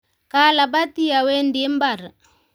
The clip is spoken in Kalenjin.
Kalabati awendi mbar